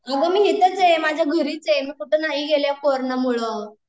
अगं मी हिताच आहे, माझ्या घरीच आहे, मी कुठ नाही गेले या कोरोंना मूळ